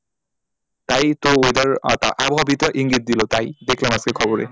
তাই তো weather এর আবহাওয়া বিদরা ইঙ্গিত দিলো তাই দেখলাম আজকে খবরে,